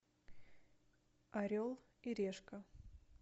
орел и решка